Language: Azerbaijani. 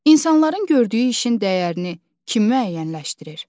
İnsanların gördüyü işin dəyərini kim müəyyənləşdirir?